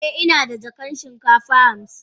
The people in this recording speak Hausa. Eh, ina da jakan shinkafa hamsin.